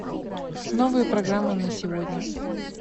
новая программа на сегодня